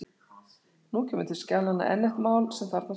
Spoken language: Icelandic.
Nú kemur til skjalanna enn eitt mál sem þarfnast úrlausnar.